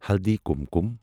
ہلدی کُمکُم